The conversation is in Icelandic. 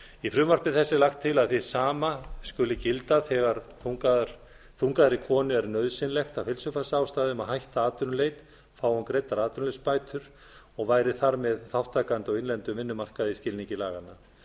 í frumvarpi þessu er lagt til að hið sama skuli gilda þegar þungaðri konu er nauðsynlegt af heilsufarsástæðum að hætta atvinnuleit fái hún greiddar atvinnuleysisbætur og væri þar með þátttakandi á innlendum vinnumarkaði í skilningi laganna